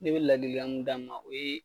Ne bɛ ladilikan min d'a ma o ye